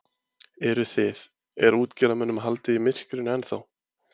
Eruð þið, er útgerðarmönnum haldið í myrkrinu ennþá?